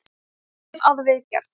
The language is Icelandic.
Það er unnið að viðgerð.